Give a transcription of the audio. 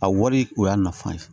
A wari o y'a nafa ye